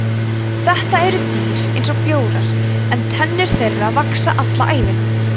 þetta eru dýr eins og bjórar en tennur þeirra vaxa alla ævina